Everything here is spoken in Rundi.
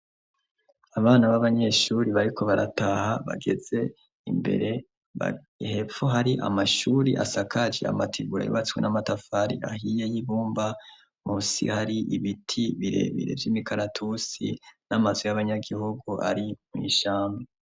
Abana b'abanyeshuri bariko barataha bageze imbere bahepfo hari amashuri asakaje amatigura yubatswe n'amatafari ahiye y'ibumba musi hari ibiti birebire vy'imikaratusi n'amazwi y'abanyagihugu ari mw'ishame.